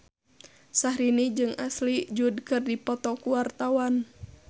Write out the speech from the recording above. Syahrini jeung Ashley Judd keur dipoto ku wartawan